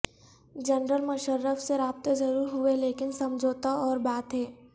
general Musharraf سے رابطے ضرور ہوئے لیکن سمجھوتہ اور بات ہے